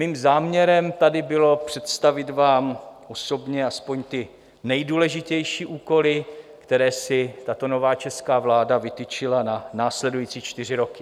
Mým záměrem tady bylo představit vám osobně aspoň ty nejdůležitější úkoly, které si tato nová česká vláda vytyčila na následující čtyři roky.